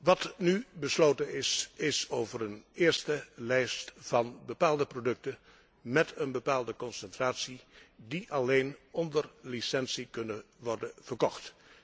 Wat nu besloten is, betreft een eerste lijst van bepaalde producten met een bepaalde concentratie die alleen onder licentie kunnen worden verkocht.